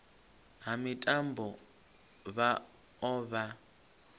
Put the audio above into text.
ha mitambo vha o vha